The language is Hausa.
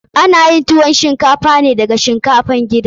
Ana yin tuwon shinkafa ne da shinkafan gida.